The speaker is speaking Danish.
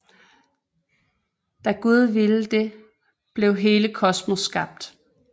Da Gud ville det blev hele kosmos skabt